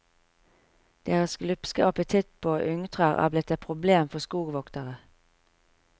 Deres glupske apetitt på ungtrær er blitt et problem for skogvoktere.